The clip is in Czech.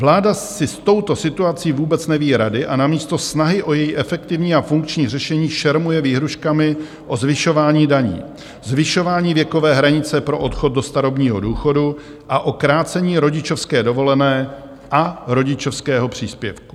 Vláda si s touto situací vůbec neví rady a namísto snahy o její efektivní a funkční řešení šermuje výhrůžkami o zvyšování daní, zvyšování věkové hranice pro odchod do starobního důchodu a o krácení rodičovské dovolené a rodičovského příspěvku.